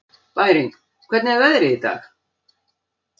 Bæring, hvernig er veðrið í dag?